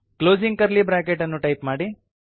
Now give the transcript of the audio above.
closing curly bracket ಅನ್ನು type ಮಾಡಿ